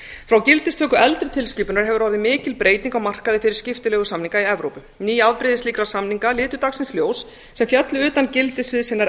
frá gildistöku eldri tilskipunar hefur orðið mikil breyting á markaði fyrir skiptileigusamninga í evrópu ný afbrigði slíkra samninga litu dagsins ljós sem féllu utan gildissviðs hinnar